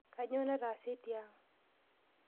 Kanyoo nataase tiang?